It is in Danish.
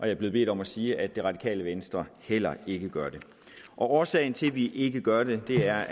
er blevet bedt om at sige at det radikale venstre heller ikke gør det årsagen til at vi ikke gør det er